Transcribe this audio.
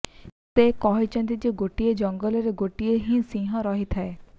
ସେ କହିଛନ୍ତି ଯେ ଗୋଟିଏ ଜଙ୍ଗଲରେ ଗୋଟିଏ ହିଁ ସିଂହ ରହିଥାଏ